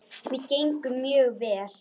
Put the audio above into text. Mér gengur mjög vel.